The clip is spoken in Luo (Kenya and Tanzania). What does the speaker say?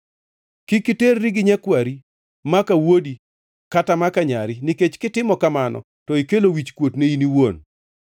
“ ‘Kik iterri gi nyakwari maka wuodi kata maka nyari, nikech kitimo kamano to ikelo wichkuot ni in iwuon.